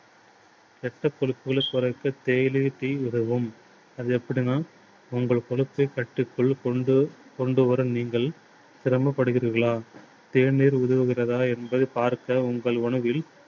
இரத்தக் கொதிப்புகளை குறைக்க தேயிலை tea உதவும். அது எப்படின்னா உங்கள் கொழுப்பைக் கட்டுக்குள் கொண்டு கொண்டு வரும். நீங்கள் சிரமப்படுகிறீர்களா? தேநீர் உதவுகிறதா என்பதை பார்க்க உங்கள் உணவில்